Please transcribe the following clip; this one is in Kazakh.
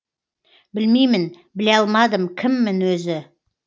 білмеймін біле алмадым кіммін өзі